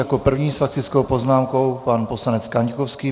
Jako první s faktickou poznámkou pan poslanec Kaňkovský.